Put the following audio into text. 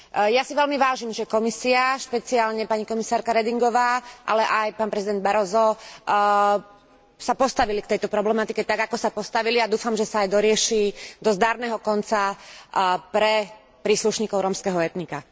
Ja si veľmi vážim, že Komisia, špeciálne pani komisárka Redingová, ale aj pán prezident Barrosso sa postavili k tejto problematike tak, ako sa postavili a dúfam, že sa aj dorieši do zdarného konca pre príslušníkov rómskeho etnika.